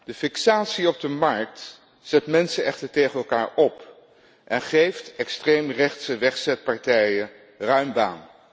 De fixatie op de markt zet mensen echter tegen elkaar op en geeft extreemrechtse wegzetpartijen ruim baan.